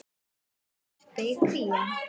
Hvar verpir krían?